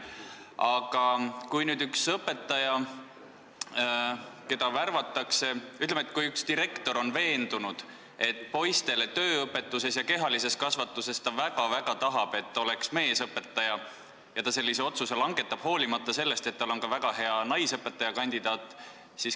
Aga ütleme, et üks koolidirektor väga-väga tahab, et poistele õpetaks tööõpetust ja kehalist kasvatust meesõpetaja, ja ta langetab sellise otsuse, hoolimata sellest, et ka naisõpetaja on väga hea kandidaat.